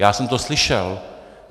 Já jsem to slyšel.